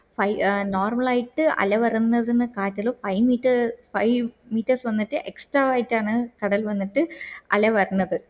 I normal ആയിട്ട് അല വരുന്നത് കാറ്റില് five meters വന്നിട്ട് extra ആയിട്ടാണ് കടൽ വന്നിട്ട് അല്ല വരുന്നത്